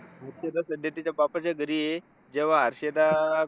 मुख्यतः असते तिच्या बापाच्या घरी, जेव्हा हर्षदा